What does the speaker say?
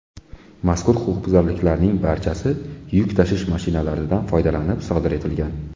Mazkur huquqbuzarliklarning barchasi yuk tashish mashinalaridan foydalanib sodir etilgan.